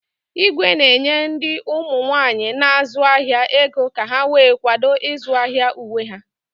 Igwe na-enye ndị ụmụ nwaanyi na-azu ahia ego ka ha wee kwado izu ahịa uwe ha.